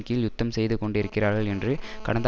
கீழ் யுத்தம் செய்து கொண்டு இருக்கிறார்கள் என்று கடந்த